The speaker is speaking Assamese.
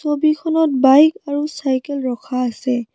ছবিখনত বাইক আৰু চাইকেল ৰখা আছে।